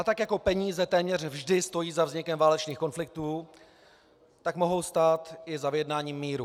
A tak jako peníze téměř vždy stojí za vznikem válečných konfliktů, tak mohou stát i za vyjednáním míru.